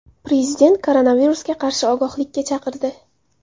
Prezident koronavirusga qarshi ogohlikka chaqirdi.